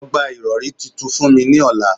Lọ gba irọri tuntun fun mi ni ọla